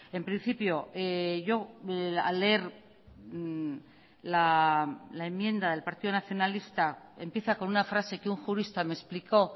en principio yo al leer la enmienda del partido nacionalista empieza con una frase que un jurista me explicó